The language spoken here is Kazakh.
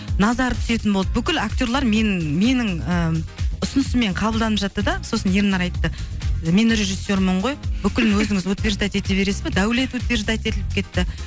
назар түсетін болды бүкіл актерлар менің менің ыыы ұсынысыммен қабылданып жатты да сосын ернар айтты мен режиссермын ғой бүкіл өзіңіз утверждать ете бересіз бе даулет утверждать етіліп кетті